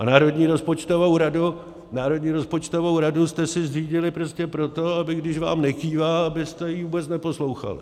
A Národní rozpočtovou radu jste si zřídili prostě proto, aby když vám nekývá, abyste ji vůbec neposlouchali.